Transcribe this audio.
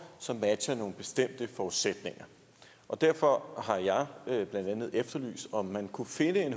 som matcher nogle bestemte forudsætninger derfor har jeg jeg blandt andet efterlyst om man kunne finde en